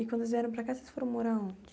E quando vieram para cá, vocês foram morar onde?